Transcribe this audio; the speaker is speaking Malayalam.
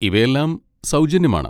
ഇവയെല്ലാം സൗജന്യമാണ്.